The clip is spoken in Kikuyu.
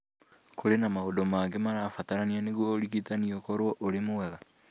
Kũrĩ na maũndũ mangĩ marabatarania nĩguo ũrigitani ũkorũo ũrĩ mwega.